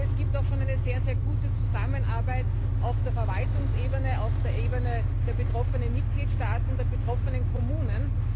Es gibt auch schon eine sehr gute Zusammenarbeit auf der Verwaltungsebene, auf der Ebene der betroffenen Mitgliedstaaten und der betroffenen Kommunen.